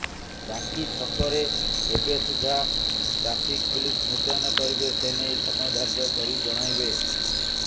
ବାକି ଛକରେ କେବେ ସୁଦ୍ଧା ଟ୍ରାଫିକ ପୁଲିସ ମୁତୟନ କରିବେ ସେନେଇ ସମୟ ଧାର୍ଯ୍ୟ କରି ଜଣାଇବେ